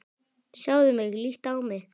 Sjáðu mig, líttu á mig.